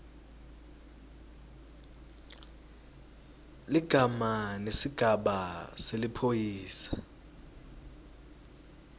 ligama nesigaba seliphoyisa